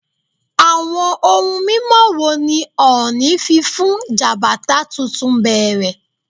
Awọn ohun mimọ wo ni Ooni fi fun Jabata tuntun bẹrẹ?